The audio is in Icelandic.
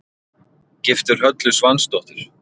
Giftur Höllu Svansdóttur.